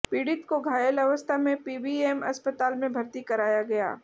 पीडि़त को घायल अवस्था में पीबीएम अस्पताल में भर्ती कराया गया